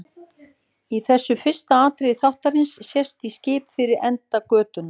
Í þessu fyrsta atriði þáttarins sést í skip fyrir enda götunnar.